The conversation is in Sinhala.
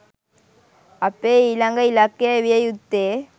අපේ ඊළඟ ඉලක්කය විය යුත්තේ